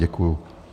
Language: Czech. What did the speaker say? Děkuji.